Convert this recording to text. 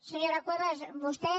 senyora cuevas vostè